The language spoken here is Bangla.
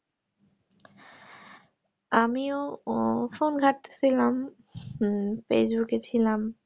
আমিও উহ phone ঘাটতেছিলাম হম facebook এ ছিলাম